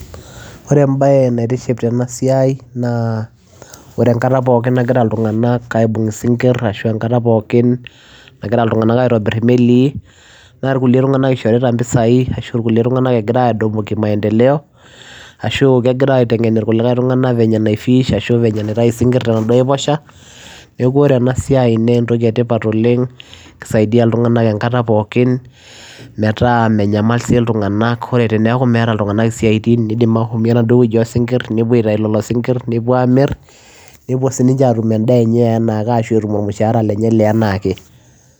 Ore embaye naitiship tena siai naa ore enkataa pookin nagira ilntunganak aibung isingirr ashua enkataa nagiraa aaitobirr imelii naa irkulie tungank ishoritaa mpisai egiraa aitengen ilntunganak venye naai fish neekuu oree ena siai naa entokii ee tipat oleng kisaidia ilntunganak enkataa pookin metaa menyamal si ninye ilntunganak oree enkata nimeeta isiatin nepuo aaitayuu iladuoo sinkir nepup amirr nepuo atum endaa enye eenaa ake